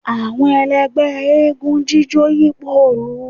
awọn èlẹgbẹ́ égúǹ jijó yipo ilù